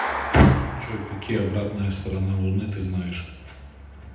джой какие обратная сторона луны ты знаешь